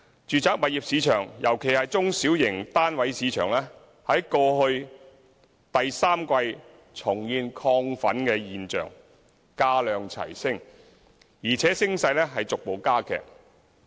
住宅物業市場——尤其是中小型單位市場——在去年第三季重現亢奮跡象，價量齊升，且升勢逐步加劇。